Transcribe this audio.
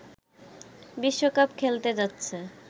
বিশ্বকাপ খেলতে যাচ্ছে